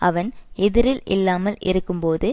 அவன் எதிரில் இல்லாமல் இருக்கும் போது